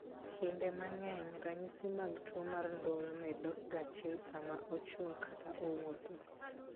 Kinde mang'eny , ranyisi mag tuwo mar ndulme dokga chien sama ochung ' kata owuotho .